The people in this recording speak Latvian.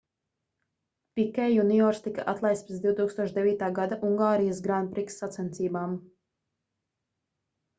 pikē juniors tika atlaists pēc 2009. gada ungārijas grand prix sacensībām